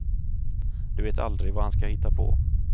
Du vet aldrig vad han ska hitta på.